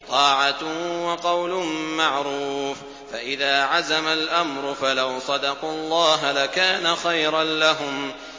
طَاعَةٌ وَقَوْلٌ مَّعْرُوفٌ ۚ فَإِذَا عَزَمَ الْأَمْرُ فَلَوْ صَدَقُوا اللَّهَ لَكَانَ خَيْرًا لَّهُمْ